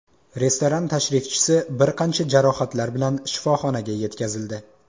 Restoran tashrifchisi bir qancha jarohatlar bilan shifoxonaga yetkazildi.